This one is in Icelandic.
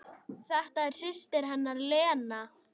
Þetta er systir hennar Lena.